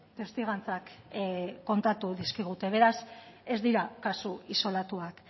testigantzak kontatu dizkigute beraz ez dira kasu isolatuak